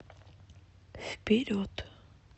вперед